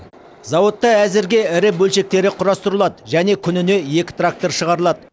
зауытта әзірге ірі бөлшектері құрастырылады және күніне екі трактор шығарылады